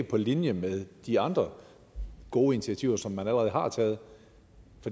på linje med de andre gode initiativer som man allerede har taget